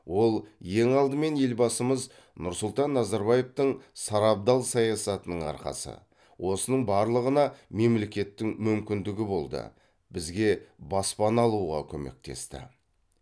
ол ең алдымен елбасымыз нұрсұлтан назарбаевтың сарабдал саясатының арқасы осының барлығына мемлекеттің мүмкіндігі болды бізге баспана алуға көмектесті